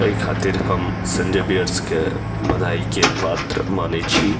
ए खातिर हम संजय बियर्स के बधाई के पात्र माने छी।